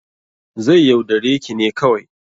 Zai yaudare ki ne kawai